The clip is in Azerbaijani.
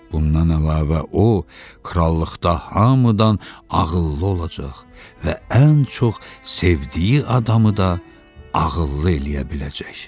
Bundan əlavə o, krallıqda hamıdan ağıllı olacaq və ən çox sevdiyi adamı da ağıllı eləyə biləcək.